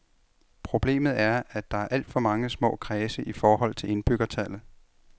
Problemet er, at der er alt for mange små kredse i forhold til indbyggertallet.